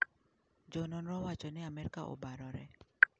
Jo nonro wacho ni amerka obarore.